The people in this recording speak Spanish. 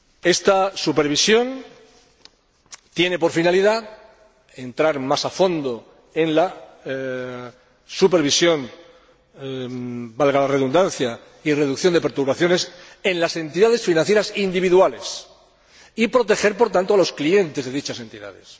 Esta supervisión tiene por finalidad entrar más a fondo en la supervisión, valga la redundancia, y reducción de perturbaciones en las entidades financieras individuales y proteger, por tanto, a los clientes de dichas entidades.